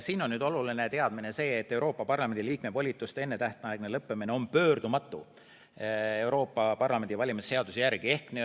Siin on nüüd oluline teadmine see, et Euroopa Parlamendi liikme volituste ennetähtaegne lõpetamine on Euroopa Parlamendi valimise seaduse järgi pöördumatu.